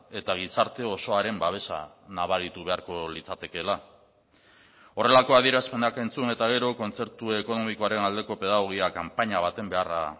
eta gizarte osoaren babesa nabaritu beharko litzatekeela horrelako adierazpenak entzun eta gero kontzertu ekonomikoaren aldeko pedagogia kanpaina baten beharra